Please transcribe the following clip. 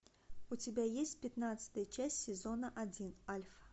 у тебя есть пятнадцатая часть сезона один альфа